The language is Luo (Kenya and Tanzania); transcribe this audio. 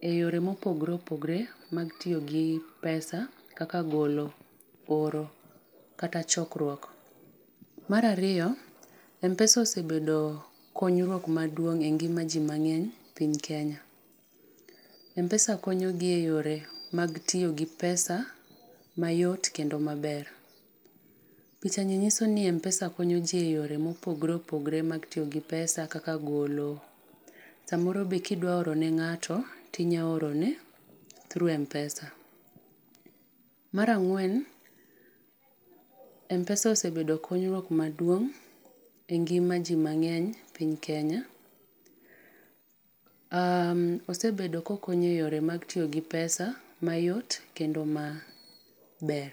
e yore mopogoreopogore, mag tiyo gi pesa kaka golo, oro kata chokruok. Mar ariyo, M-Pesa osebedo konyruok maduong' e ngima jii mang'eny e piny Kenya. M-Pesa konyogi e yore mag tiyo gi pesa mayot kendo maber. Pichani nyiso ni M-Pesa konyo ji e yore mopogoreopogore mag tiyo gi pesa kaka golo. Samoro be ka idwa orone ng'ato to inyalo orone through M-Pesa. Mar ang'wen, M-Pesa osebedo konyruok maduong' e ngima ji mang'eny e piny Kenya. Osebedo kokonyo e yore mag tiyo gi pesa e mayot kendo maber.